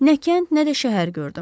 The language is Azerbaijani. Nə kənd, nə də şəhər gördüm.